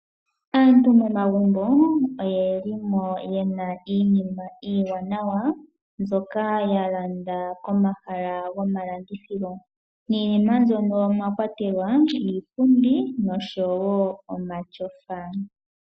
Aantu momagumbo oye li mo yena iinima iiwanawa mbyoka ya landa komahala gomalandithilo niinima mbyono omwa kwatelwa iipundi nosho wo omatyofa.